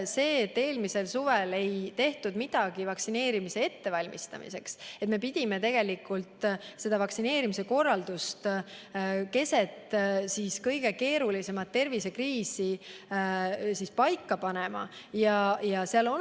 Eelmisel suvel ei tehtud midagi vaktsineerimise ettevalmistamiseks, mistõttu me pidime vaktsineerimise korraldust keset kõige keerulisemat tervisekriisi paika hakkama panema.